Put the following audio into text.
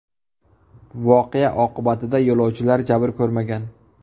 Voqea oqibatida yo‘lovchilar jabr ko‘rmagan.